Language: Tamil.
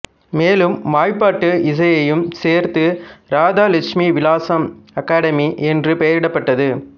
மேலும் வாய்பாட்டு இசையையும் சேர்த்து ராதா லட்சுமி விலாசம் அகாடமி என்று பெயரிடப்பட்டது